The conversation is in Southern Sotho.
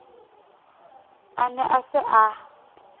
a ne a se a